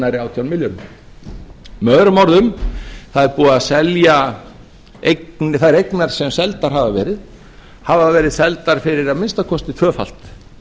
hærri átján milljörðum með öðrum orðum þær eignir sem seldar hafa verið hafa verið seldar fyrir að minnsta kosti tvöfalt